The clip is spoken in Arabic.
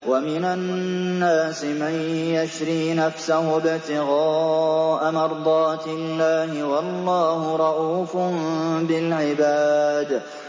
وَمِنَ النَّاسِ مَن يَشْرِي نَفْسَهُ ابْتِغَاءَ مَرْضَاتِ اللَّهِ ۗ وَاللَّهُ رَءُوفٌ بِالْعِبَادِ